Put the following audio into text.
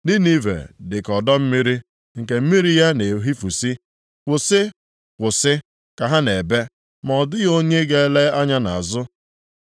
Ninive dịka ọdọ mmiri nke mmiri ya na-ehifusị. “Kwụsị! Kwụsị!” ka ha na-ebe, ma ọ dịghị onye ga-ele anya nʼazụ.